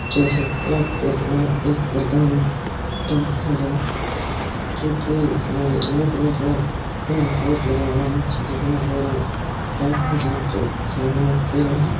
जैसे की आप देख देख रहे एक प्रधान का घर है चूँकि इसमें येलो कलर का अ बोर्ड लगा हुआ है छज्जे बहोत बड़ा डाक घर हैं जो की साइड मे एक पेन हैं।